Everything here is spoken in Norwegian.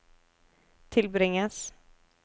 tilbringes